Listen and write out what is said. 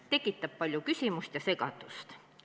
See tekitab palju küsimusi ja segadust.